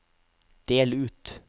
del ut